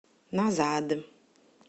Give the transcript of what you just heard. назад